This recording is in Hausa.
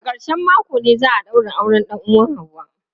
A ƙarshen mako ne za a daura auren dan uwan ​​Hauwa.